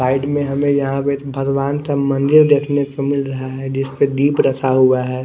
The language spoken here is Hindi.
साइड में हमे यहाँ पे भगवान का मंदिर देखने को मिल रहा है जिसपे दीप रखा हुआ है।